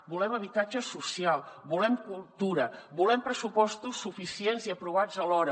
volem habitatge social volem cultura volem pressupostos suficients i aprovats a l’hora